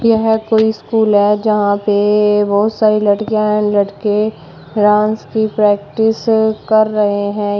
यह कोई स्कूल है यहां पे बहुत सारी लड़कियाँ हैं लड़के डांस की प्रैक्टिस कर रहे हैं।